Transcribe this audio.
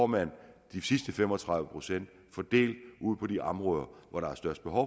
man de sidste fem og tredive procent fordelt på de områder hvor der er størst behov